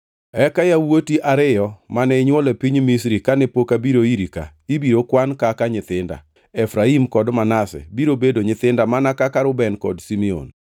“Eka yawuoti ariyo mane inywolo e piny Misri kane pok abiro iri ka ibiro kwan kaka nyithinda; Efraim kod Manase biro bedo nyithinda mana kaka Reuben kod Simeon.